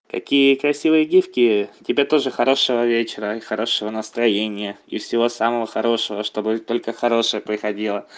какие красивые гифки тебе тоже хорошего вечера и хорошего настроения и всего самого хорошего чтобы только хорошее приходило